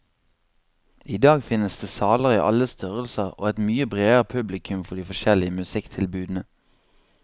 I dag finnes det saler i alle størrelser og et mye bredere publikum for de forskjellige musikktilbudene.